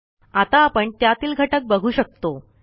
आता आपण त्यातील घटक बघू शकतो